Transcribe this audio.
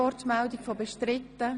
Ist der Antrag bestritten?